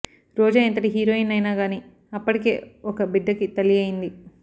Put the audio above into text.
రోజా ఎంతటి హీరోయిన్ అయిన గాని అప్పటికే ఒక బిడ్డ కి తల్లి అయింది